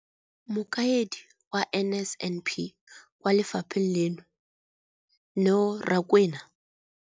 Mokaedi wa NSNP kwa lefapheng leno, Neo Rakwena,